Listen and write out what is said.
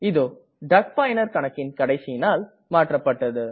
இதோ டக் பயனர் கணக்கின் கடைசி நாள் மாற்றப்பட்டது